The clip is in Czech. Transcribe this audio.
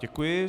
Děkuji.